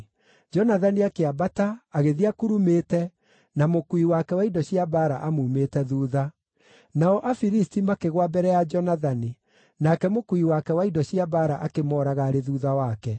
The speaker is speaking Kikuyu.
Jonathani akĩambata, agĩthiĩ akurumĩte, na mũkuui wake wa indo cia mbaara amuumĩte thuutha. Nao Afilisti makĩgũa mbere ya Jonathani, nake mũkuui wake wa indo cia mbaara akĩmooraga arĩ thuutha wake.